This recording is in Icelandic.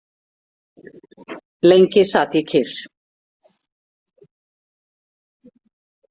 Lengi sat ég kyrr.